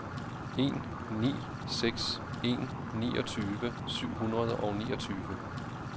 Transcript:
en ni seks en niogtyve syv hundrede og niogtyve